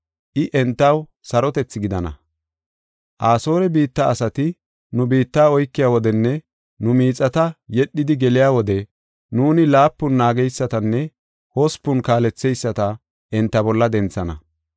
I entaw sarotethi gidana. Asoore biitta asati nu biitta oykiya wodenne nu miixata yedhidi geliya wode nuuni laapun naageysatanne hospun kaaletheyisata enta bolla denthana.